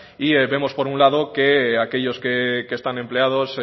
y vemos por un lado que aquellos que están empleados